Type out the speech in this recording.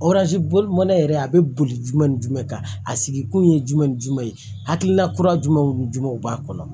mana yɛrɛ a bɛ boli ni jumɛn kan a sigi kun ye jumɛn ni jumɛn ye hakilina kura jumɛnw ni jumɛnw b'a kɔnɔ